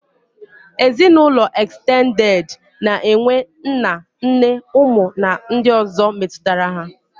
Ezinaụlọ ekstended na-enwe nna, nne, ụmụ na ndị ọ̀zọ́ metụtara ha.